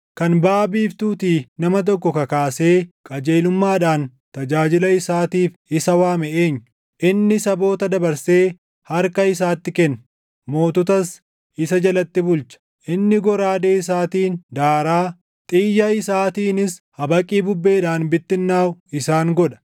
“Kan baʼa biiftuutii nama tokko kakaasee qajeelummaadhaan tajaajila isaatiif isa waame eenyu? Inni saboota dabarsee harka isaatti kenna; moototas isa jalatti bulcha. Inni goraadee isaatiin daaraa, xiyya isaatiinis habaqii bubbeedhaan // bittinnaaʼu isaan godha.